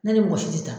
Ne ni mɔgɔ si tɛ taa